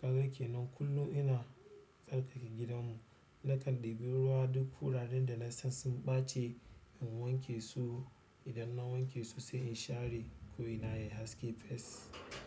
Kaga ke nan kullum ina tsarkake gidanmu. Lakal debiruwa duk wuraren da na san sun ɓace in wanke su. Idan na wanke su sai in share ko ina yayi haske fess.